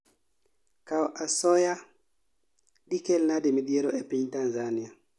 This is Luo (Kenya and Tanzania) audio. Kao asoya dikelnade midhiero epinTanzania?